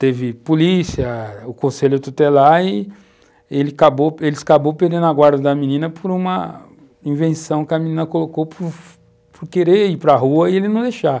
Teve polícia, o conselho tutelar e eles acabaram perdendo a guarda da menina por uma invenção que a menina colocou por querer ir para rua e ele não deixar.